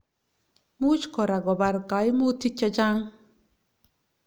Muuch koraa kobar kaimutiik chechang